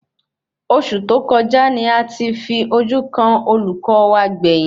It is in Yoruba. Oṣù tó kọjá ní a ti fi ojú kàn olùkọ wa gbẹ̀yìn